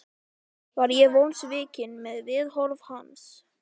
Já, þú veist það náttúrlega ekki.